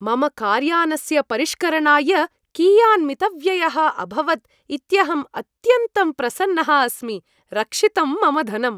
मम कार्यानस्य परिष्करणाय कियान् मितव्ययः अभवत् इत्यहम् अत्यन्तं प्रसन्नः अस्मि रक्षितं मम धनम्।